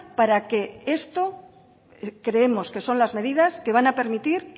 para que esto creemos que son las medidas que van a permitir